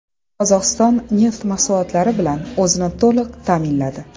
Qozog‘iston neft mahsulotlari bilan o‘zini to‘liq ta’minladi.